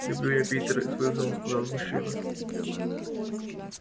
люблю я питер с вызовом сказал мужчина